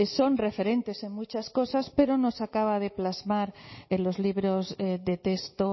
son referentes en muchas cosas pero no se acaba de plasmar en los libros de texto